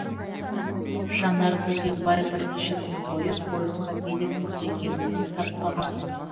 жанар күзембай бірнеше күн бойы пойызға билет іздегенімен таппаған